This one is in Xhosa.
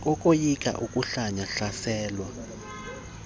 kokoyika ukohlwaywa hlaselwa